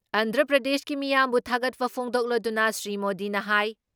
ꯑꯟꯗ꯭ꯔ ꯄ꯭ꯔꯗꯦꯁꯀꯤ ꯃꯤꯌꯥꯝꯕꯨ ꯊꯥꯒꯠꯄ ꯐꯣꯡꯗꯣꯛꯂꯗꯨꯅ ꯁ꯭ꯔꯤ ꯃꯣꯗꯤꯅ ꯍꯥꯏ